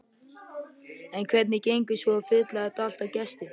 En hvernig gengur svo að fylla þetta allt af gestum?